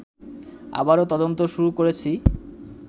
আবারও তদন্ত শুরু করেছি